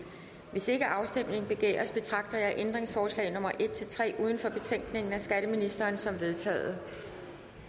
hvis ikke afstemning begæres betragter jeg ændringsforslag nummer en tre uden for betænkningen af skatteministeren som vedtaget